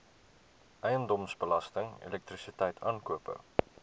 eiendomsbelasting elektrisiteit aankope